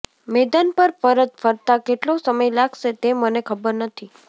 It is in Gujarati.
મેદાન પર પરત ફરતા કેટલો સમય લાગશે તે મને ખબર નથી